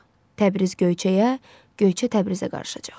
Təbriz Göyçəyə, Göyçə Təbrizə qarışacaq.